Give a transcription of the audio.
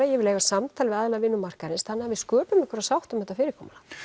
ég vil eiga samtal við aðila vinnumarkaðarins þannig að við sköpum einhverja sátt um þetta fyrirkomulag